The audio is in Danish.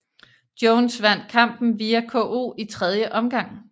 Jones vandt kampen via KO i tredje omgang